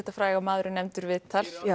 maður er nefndur viðtal